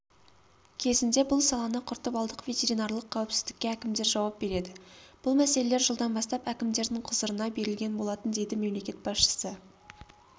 кезінде бұл саланы құртып алдық ветеринарлық қауіпсіздікке әкімдер жауап береді бұл мәселелер жылдан бастап әкімдердің құзырына берілген болатын дейді мемлекет басшысы